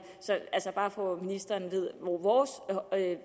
bare for at ministeren ved